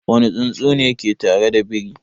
Wane tsuntsu ne ke tare da biri?